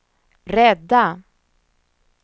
rädda